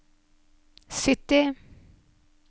sytti